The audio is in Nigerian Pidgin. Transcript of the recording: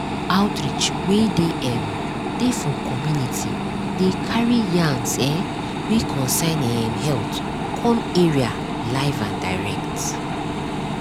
outreach wey dem um dey for community dey carry yarns[um]wey concern um health come area live and direct.